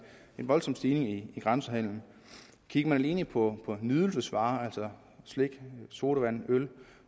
voldsom stigning i grænsehandelen kigger man alene på nydelsesvarer altså slik sodavand øl